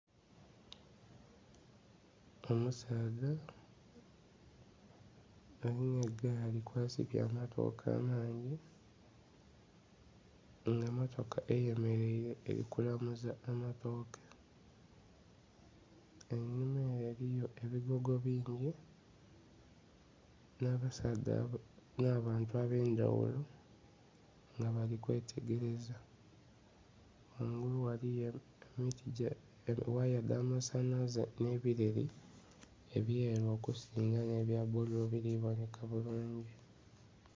Omusaadha alina gaali kwa sibye amatoke amangi nga motoka eye mereire eri kulamuza amatoke einhuma ere eriyo ebigogo bingi nha basaadha, nha bantu abe'ndhaghulo nga bali kwetegereza . Ghangulu ghaligho ghaya dha masanhalaze nhe bileeri ebyeru omuzinga ebya bululu nhe biri kubonheka bulungi.